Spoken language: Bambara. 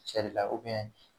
Cɛ de la